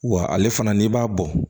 Wa ale fana n'i b'a bɔ